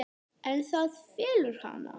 En það felur hana.